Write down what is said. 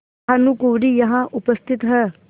भानुकुँवरि यहाँ उपस्थित हैं